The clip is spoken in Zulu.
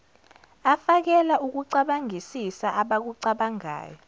afakela ukucabangisisa abakucabangayo